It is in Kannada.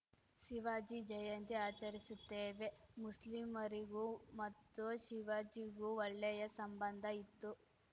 ಶಿವಾಜಿ ಜಯಂತಿ ಆಚರಿಸುತ್ತೇವೆ ಮುಸ್ಲಿಮರಿಗೂ ಮತ್ತು ಶಿವಾಜಿಗೂ ಒಳ್ಳೆಯ ಸಂಬಂಧ ಇತ್ತು